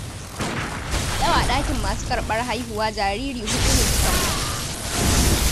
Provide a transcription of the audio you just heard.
Yau a ɗakin masu karɓar haihuwa jariri huɗu ne suka mutu.